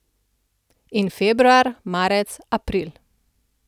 In februar, marec, april...